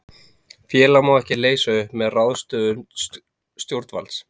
Félag má ekki leysa upp með ráðstöfun stjórnvalds.